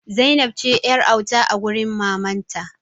Zainab ce yar'auta a wurin mamanta.